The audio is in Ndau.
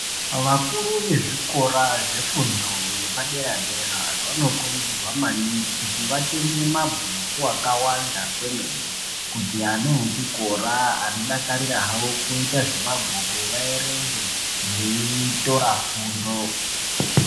Vakuru vezvikora zvefundo yepadera-dera vanokurudzirwa maningi kuti vatenge mabhuku akawanda kwemene kuti ana echikora anodakarira hawo kuita zvemabhuku vaerenge veitora fundo.